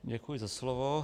Děkuji za slovo.